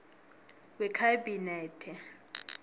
wekhabinethe